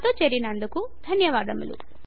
మాతో చేరినందుకు ధన్యవాదములు